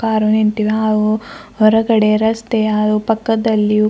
car ನಿಂತಿವೆ ಹಾಗೂ ಹೊರಗಡೆ ರಸ್ತೆ ಹಾಗೂ ಪಕ್ಕದಲ್ಲಿಯು--